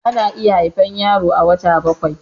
ana iya haifar yaro a wata bakwai